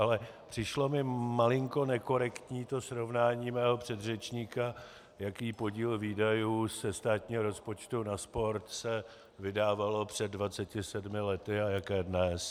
Ale přišlo mi malinko nekorektní to srovnání mého předřečníka, jaký podíl výdajů ze státního rozpočtu na sport se vydával před 27 lety a jaký dnes.